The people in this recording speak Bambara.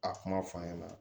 A kuma f'an ɲɛna